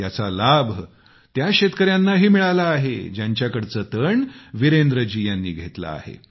याचा लाभ त्या शेतकऱ्यांनाही मिळाला आहे ज्यांच्याकडचे तण वीरेंद्रजी यांनी घेतले आहे